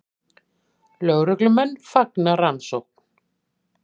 Lögreglumenn fagna rannsókn